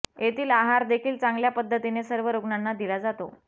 येथील आहार देखील चांगल्या पद्धतीने सर्व रुग्णांना दिला जातो